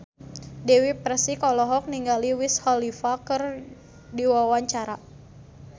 Dewi Persik olohok ningali Wiz Khalifa keur diwawancara